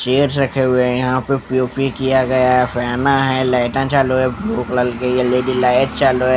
Chairs रखे हुए हैं यहाँ पे पी_ओ_पी किया गया है फैना है लाइटा चालू है ब्लू कलर की है एल_ इ_ डी लाइट चालू है.